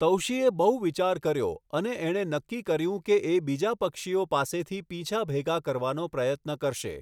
તૌશિએ બહુ વિચાર કર્યો અને એણે નક્કી કર્યું કે એ બીજા પક્ષીઓ પાસેથી પીંછા ભેગા કરવાનો પ્રયત્ન કરશે.